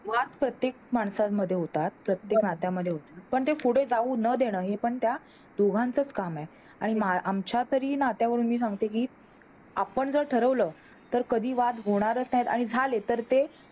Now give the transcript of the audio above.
वाद प्रत्येक माणसामध्ये होतात, प्रत्येक नात्यामध्ये होतात, पण ते पुढे न जाऊ देणं हे पण त्यां दोघांच काम आहेआणि आमच्या तरी नात्यावरून मी सांगते कि आपण जर ठरवलं तर कधी वाद होनरच नाही आणि झाले तर ते